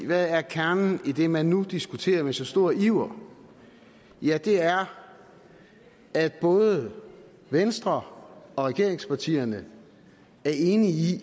hvad er kernen i det man nu diskuterer med så stor iver ja det er at både venstre og regeringspartierne er enige